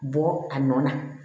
Bɔ a nɔ na